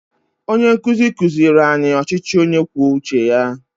Onye nkuzi kuziri anyị ọchịchị onye kwuo uche ya